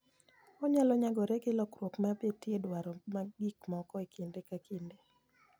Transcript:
Onyalo nyagore gi lokruok ma betie e dwaro mag gik moko e kinde ka kinde.